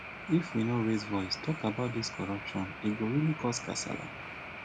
if we no raise voice talk about dis corruptione go really cos kasala